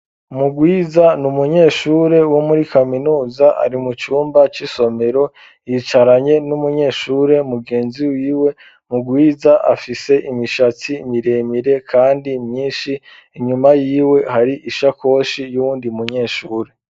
Mugwiza n'umunyeshure wo muri kaminuza ari mu cumba c'isomero yicaranye n'umunyeshure mugenzi wiwe, mugwiza afise imishatsi miremire kandi myinshi inyuma yiwe hari ishakoshi yuwundi munyeshure.